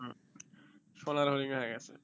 হম সোনার হরিণ হয়ে গেছে